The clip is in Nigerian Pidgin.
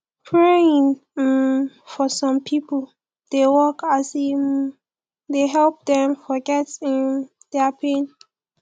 praying um for som pipo dey work as e um dey help dem forget um dia pain